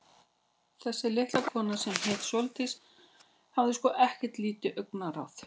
Þessi litla kona, sem hét Sóldís, hafði sko ekkert lítið augnaráð.